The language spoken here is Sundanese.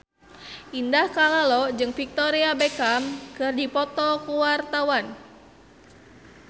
Indah Kalalo jeung Victoria Beckham keur dipoto ku wartawan